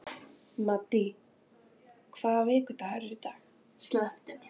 Maddý, hvaða vikudagur er í dag?